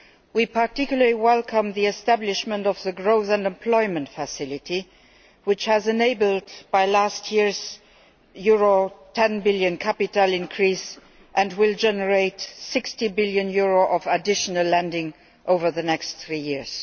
We particularly welcome the establishment of the Growth and Employment Facility, which was enabled by last year's EUR10 billion capital increase and will generate EUR60 billion of additional lending over the next three years.